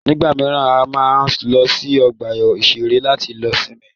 Nígbà míràn, a máa ń lọ sí ọgbà ìṣẹ̀rẹ́ láti lọ sinmi.